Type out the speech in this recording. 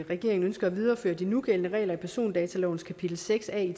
at regeringen ønsker at videreføre de nugældende regler i persondatalovens kapitel seks a i